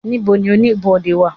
ibò ní Oníbodè wa?